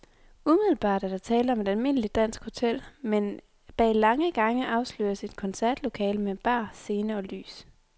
Umiddelbart er der tale om et almindeligt dansk hotel, men bag lange gange afsløres et koncertlokale med bar, scene og lys.